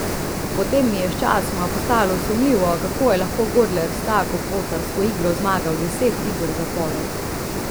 Potem mi je sčasoma postalo sumljivo, kako je lahko Godler s tako pocarsko igro zmagal deset iger zapored.